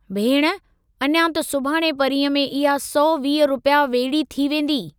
भेण! अञां त सुभाणे परीहं में इहा सौ वीह रुपिया वेड़ी थी वेंदी।